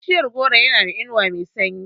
Bishiyar goro yana da inuwa mai sanyi.